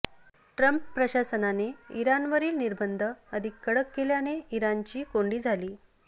Trump प्रशासनाने इराणवरील निर्बंध अधिक कडक केल्याने इराणची कोंडी झाली